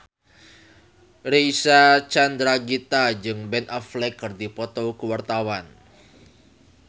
Reysa Chandragitta jeung Ben Affleck keur dipoto ku wartawan